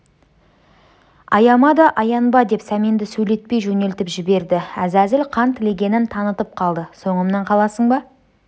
аяма да аянба деп сәменді сөйлетпей жөнелтіп жіберді әзәзіл қан тілегенін танытып қалды соңымнан қаласың ба